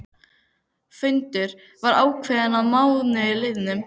Fundur var ákveðinn að mánuði liðnum.